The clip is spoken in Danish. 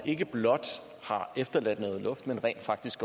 ikke blot er efterladt noget luft men rent faktisk